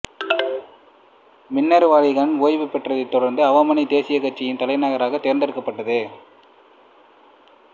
பின்னர் வாலி கான் ஓய்வு பெற்றதைத் தொடர்ந்து அவாமி தேசியக் கட்சியின் தலைவராக தேர்ந்தெடுக்கப்பட்டார்